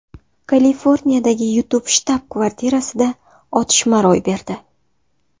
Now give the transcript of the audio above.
Kaliforniyadagi YouTube shtab-kvartirasida otishma ro‘y berdi.